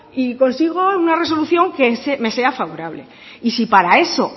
y consigo una resolución que me sea favorable y si para eso